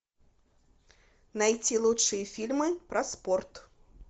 найти лучшие фильмы про спорт